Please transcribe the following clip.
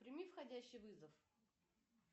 прими входящий вызов